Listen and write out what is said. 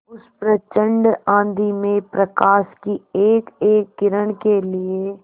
उस प्रचंड आँधी में प्रकाश की एकएक किरण के लिए